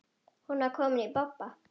Hún var komin í bobba.